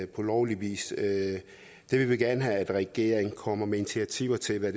på lovlig vis det vil vi gerne have at regeringen kommer med initiativer til at